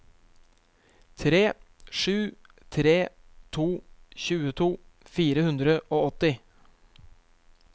tre sju tre to tjueto fire hundre og åtti